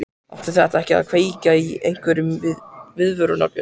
Átti það ekki að kveikja á einhverjum viðvörunarbjöllum?